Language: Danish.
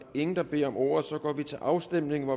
ingen der beder om ordet så går vi til afstemning